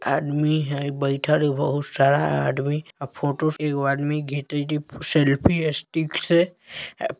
आदमी हय बैठल है बहुत सारा आदमी अ फोटो एगो आदमी घीचेएत हय सेल्फ़ी स्टिक से ए --